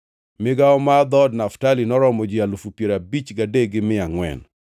Migawo mar dhood Naftali noromo ji alufu piero abich gadek gi mia angʼwen (53,400).